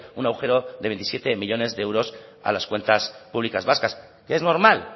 un agujero de veintisiete millónes de euros a las cuentas públicas vascas que es normal